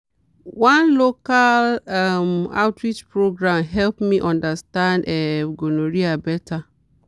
one local um outreach program help me understand um gonorrhea better.